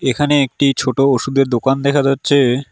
এখানে একটি ছোটো ওষুধের দোকান দেখা যাচ্ছে।